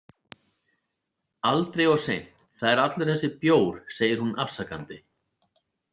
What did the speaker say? Aldrei of seint Það er allur þessi bjór, segir hún afsakandi.